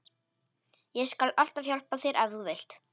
Ég skal alltaf hjálpa þér ef þú vilt.